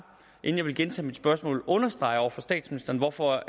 inden jeg vil gentage mit spørgsmål understrege over for statsministeren hvorfor